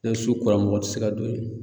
Nɛ su kora mɔgɔ ti se ka don yen.